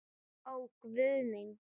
Ó Guð minn.